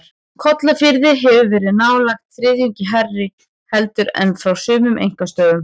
Kollafirði hefur verið nálægt þriðjungi hærra heldur en frá sumum einkastöðvum.